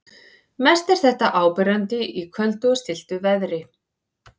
Mest er þetta áberandi í köldu og stilltu veðri.